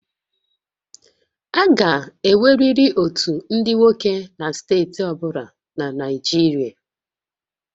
A ga-enweriri otu ndị nwoke na steeti ọ bụla na Naịjirịa